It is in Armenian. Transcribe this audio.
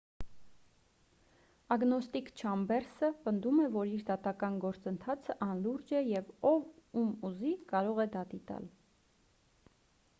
ագնոստիկ չամբերսը պնդում է որ իր դատական գործընթացը անլուրջ է և ով ում ուզի կարող է դատի տալ